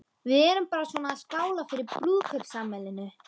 Við erum bara svona að skála fyrir brúðkaupsafmælinu.